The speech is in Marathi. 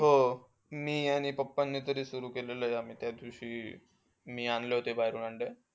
हो, मी आणि papa नी तरी सुरु केलंय. आम्ही त्यादिवशी, मी आणले होते बाहेरून.